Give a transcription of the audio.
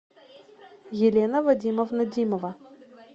елена вадимовна димова